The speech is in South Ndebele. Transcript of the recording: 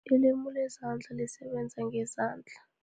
IlimI lezandla, lisebenza ngezandla.